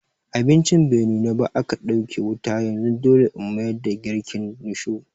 Abincin bai nuna ba aka ɗauke wuta yanzu dole In mayar da girkin risho.